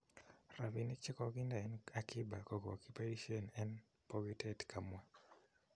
Rapinik chekokinde en akiba ko kakipaishen en pokitet. kamwa.